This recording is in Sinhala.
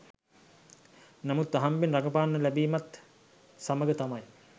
නමුත් අහම්බයෙන් රඟපාන්න ලැබීමත් සමග තමයි